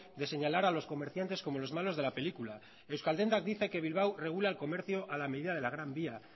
de señalar a los comerciantes como los malos de la película euskal dendak dice que bilbao regula el comercio a la medida de la gran vía